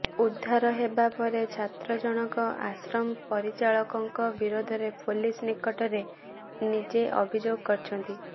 ଉଦ୍ଧାର ହେବା ପରେ ଛାତ୍ର ଜଣକ ଆଶ୍ରମ ପରିଚାଳକଙ୍କ ବିରୋଧରେ ପୋଲିସ ନିକଟରେ ନିଜେ ଅଭିଯୋଗ କରିଛନ୍ତି